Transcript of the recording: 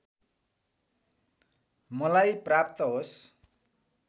मलाई प्राप्त होस्